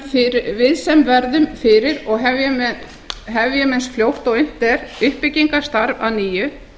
skaðann við sem verðum fyrir og hefjum eins fljótt og unnt er uppbyggingarstarf að nýju